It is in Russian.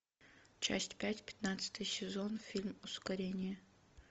часть пять пятнадцатый сезон фильм ускорение